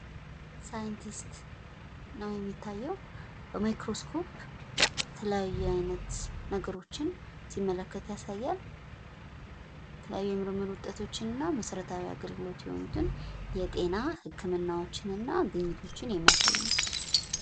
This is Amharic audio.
ሳይንቲስት ነው የሚታየው ፥ በማይክሮስኮፕ የተለያየ አይነት ነገሮችን ሲመልከት ያሳያል ፣ የተለያዩ የምርምር ዉጠቶችን እና መሰረታዊ አገልግሎት የሆኑትን ፣ የጤና ህክምናዎችን፣ እና ግኝቶችን የሚያሳይ ነው።